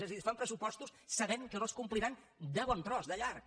és a dir fan pressupostos sabent que no es compliran de bon tros de llarg